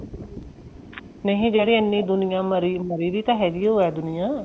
ਨਹੀਂ ਜਿਹੜੇ ਐਨੀ ਦੁਨੀਆਂ ਮਰੀ ਮਰੀ ਵੀ ਤਾਂ ਹੈਗੀ ਹੋ ਦੁਨੀਆਂ